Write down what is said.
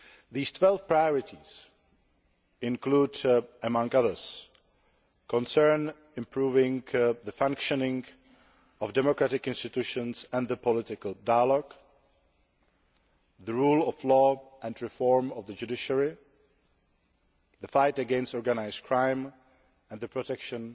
These 12 priorities include, among others, improving the functioning of democratic institutions and the political dialogue, the rule of law and reform of the judiciary, the fight against organised crime and the protection